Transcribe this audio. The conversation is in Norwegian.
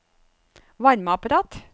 varmeapparat